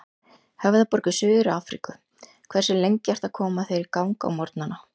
Höfðaborg í Suður-Afríku Hversu lengi ertu að koma þér í gang á morgnanna?